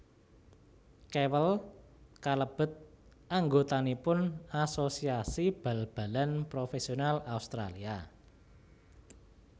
Kewell kalebet anggotanipun Asosiasi Bal balan Profesional Australia